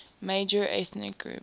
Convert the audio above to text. major ethnic group